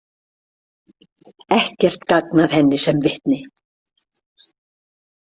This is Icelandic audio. Ekkert gagn að henni sem vitni.